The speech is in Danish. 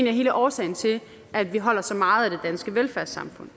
er hele årsagen til at vi holder så meget af det danske velfærdssamfund